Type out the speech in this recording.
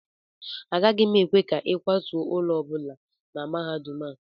Agaghị m ekwe ka ịkwatuo ụlọ ọ bụla na mahadum a